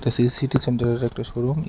AC city সেন্টারের একটা showroom.